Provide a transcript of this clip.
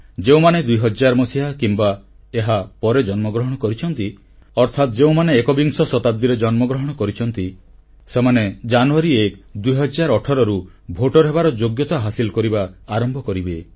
ଯେଉଁମାନେ 2000 ମସିହା କିମ୍ବା ଏହାପରେ ଜନ୍ମଗ୍ରହଣ କରିଛନ୍ତି ଅର୍ଥାତ୍ ଯେଉଁମାନେ ଏକବିଂଶ ଶତାବ୍ଦୀରେ ଜନ୍ମଗ୍ରହଣ କରିଛନ୍ତି ସେମାନେ ଜାନୁୟାରୀ 1 2018ରୁ ଭୋଟର ହେବାର ଯୋଗ୍ୟତା ହାସିଲ କରିବା ଆରମ୍ଭ କରିବେ